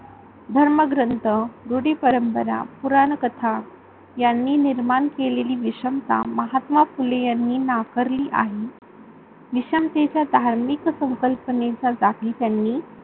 धर्मग्रंथ, रूढीपरंपरा, पुराणकथा यानी निर्माण केलेली विषमता महात्मा फुले यांनी नाकारली आहे. विषमतेचा धार्मिक संकल्पनेचा जाती त्यांनी